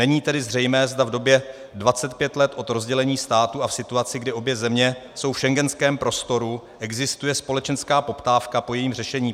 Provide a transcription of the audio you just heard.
Není tedy zřejmé, zda v době 25 let od rozdělení státu a v situaci, kdy obě země jsou v schengenském prostoru, existuje společenská poptávka po jejím řešení.